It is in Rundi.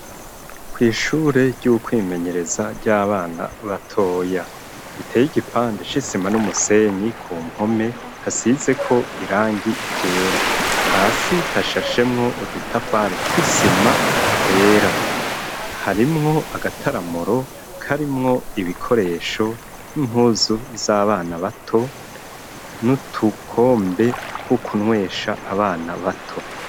Kw'ishure ry'ukwimenyereza ry'abana batoya iteye igipande shisima n'umusenyi ku mpome hasize ko irangi iryera hasi hashashemwo udutafare twisima twera harimwo agataramuro karimwo ibikoresho impuzu z'abana bato niutukombe tw'ukunwesha abana bato.